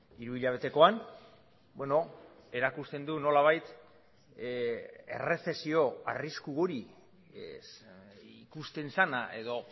hiruhilabetekoan erakusten du nolabait errezesio arrisku hori ikusten zena edo